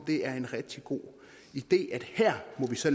det er en rigtig god idé at her må vi så